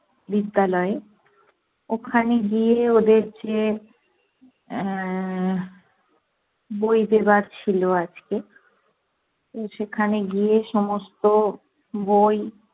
বিদ্যালয়ে। ওখানে গিয়ে ওদের যে আহ বই দেবার ছিলো আজকে, সেখানে গিয়ে সমস্ত বই